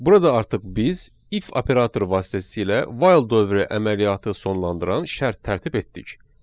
Burada artıq biz if operatoru vasitəsilə while dövrü əməliyyatı sonlandıran şərt tərtib etdik.